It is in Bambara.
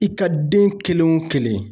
I ka den kelen wo kelen.